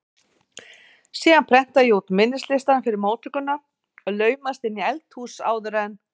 Síðan prenta ég út minnislistann fyrir móttökuna og laumast inn í eldhús áður en